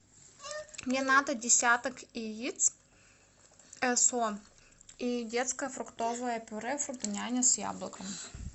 мне надо десяток яиц эс о и детское фруктовое пюро фрутоняня с яблоком